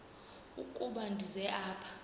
ukuba ndize apha